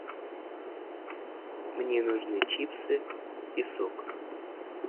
мне нужны чипсы и сок